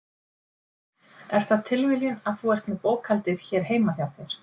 Er það tilviljun að þú ert með bókhaldið hér heima hjá þér?